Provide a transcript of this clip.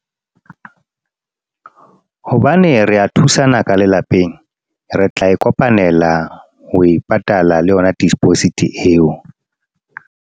Hobane re a thusana ka lelapeng. Re tla e kopanela ho e patala le yona deposit eo.